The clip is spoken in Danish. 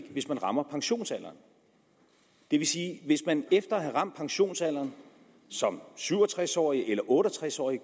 hvis man rammer pensionsalderen det vil sige at hvis man efter at have ramt pensionsalderen som syv og tres årig eller otte og tres årig